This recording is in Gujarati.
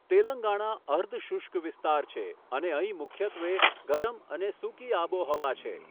તેલંગાણા અર્ધ શુષ્ક વિસ્તાર છે અને અહીં મુખ્યત્વે ગરમ અને સૂકી આબોહવા છે.